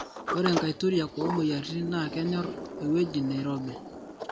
ore nkaituriak omoyiaritin naa kenyor ewoi nairobi